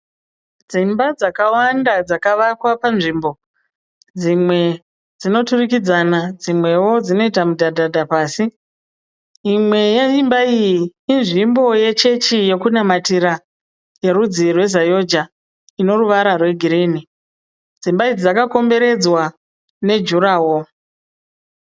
Dzimba dzakawanda dzakavakwa panzvimbo. Dzimwe dzinoturikidzana dzimweo dzinoita mudhadhadha pasi. Imwe yeimba iyi inzvimbo yechechi yokunamatira yerudzi rwezayoja inoruvara rwegirini. Dzimba idzi dzakakomberedzwa nejuraho.